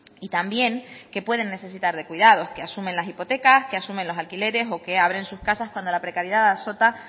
y también que pueden necesitar de cuidados que asumen las hipotecas que asumen los alquileres o que abren sus casas cuando la precariedad azota